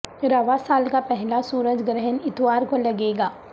رواں سال کا پہلا سورج گرہن اتوار کو لگے گا